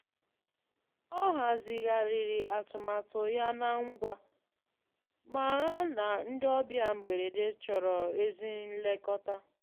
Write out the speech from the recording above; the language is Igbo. Ọ hazigharịrị atụmatụ ya na ńgwā, màrà na ndị ọbịa mgberede chọrọ ezi nlekọta.